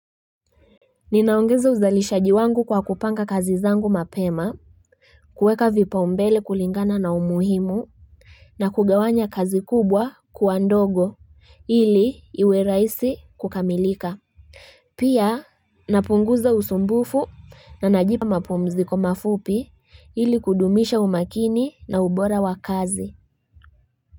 Ninaongeza uzalishaji wangu kwa kupanga kazi zangu mapema kuweka vipa umbele kulingana na umuhimu na kugawanya kazi kubwa kuandogo hili iwe rahisi kukamilika Pia napunguza usumbufu na najipa mapumzi ko mafupi hili kudumisha umakini na ubora wakazi.